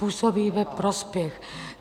Působí ve prospěch.